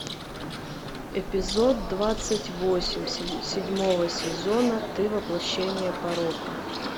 эпизод двадцать восемь седьмого сезона ты воплощение порока